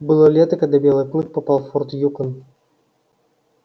было лето когда белый клык попал в форт юкон